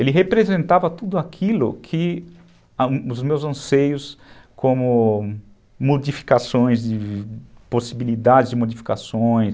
Ele representava tudo aquilo que os meus anseios como modificações, de de possibilidades de modificações.